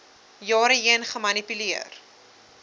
jare heen gemanipuleer